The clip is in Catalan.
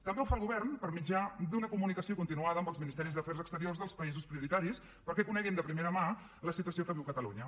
també ho fa el govern per mitjà d’una comunicació continuada amb els ministeris d’afers exteriors dels països prioritaris perquè coneguin de primera mà la situació que viu catalunya